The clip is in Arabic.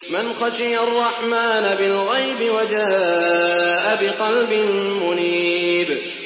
مَّنْ خَشِيَ الرَّحْمَٰنَ بِالْغَيْبِ وَجَاءَ بِقَلْبٍ مُّنِيبٍ